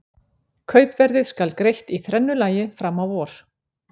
Kaupverðið skal greitt í þrennu lagi fram á vor.